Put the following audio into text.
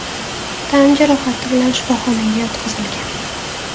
tan jarohati bilan shifoxonaga yotqizilgan.